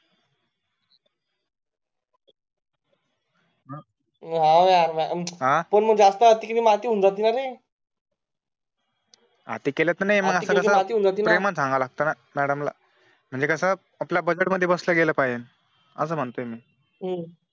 हवं यार पण जास्त अति केलं ना अति होऊन जाते ना अति केले तर प्रेमाने सांगावं लागत मॅडम ला म्हणजे कास आपल्या बजेट बसलं गेलं पाहिजे